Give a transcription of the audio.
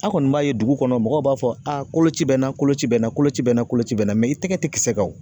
An kɔni b'a ye dugu kɔnɔ mɔgɔw b'a fɔ a koloci bɛ na koloci bɛ n'a kolocɛ bɛ na koloci bɛ na i tɛgɛ tɛ kisɛ kan o.